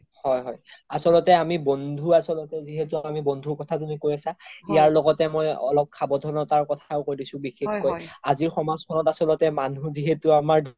হয় হয় আচল্তে আমি বন্ধু আচল্তে যিহেতু আমি বন্ধুৰ কথা তুমি কৈ আছে ইয়াৰ লগতে মই অলপ সাভানধাতা বিষয়ে কই দিছো বিষেসকৈ আজিৰ সামাজ খনত আচ্ল্তে মানুহ যিহেতু আমাৰ